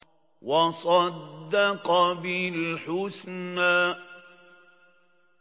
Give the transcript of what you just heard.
وَصَدَّقَ بِالْحُسْنَىٰ